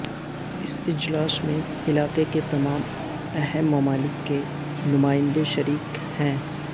اس اجلاس میں علاقے کے تمام اہم ممالک کے نمائندے شریک ہیں